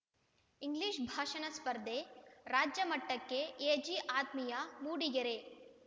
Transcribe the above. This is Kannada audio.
ಇಂಗ್ಲಿಷ್‌ ಭಾಷಣ ಸ್ಪರ್ಧೆ ರಾಜ್ಯ ಮಟ್ಟಕ್ಕೆ ಎಜಿಆತ್ಮೀಯಾ ಮೂಡಿಗೆರೆ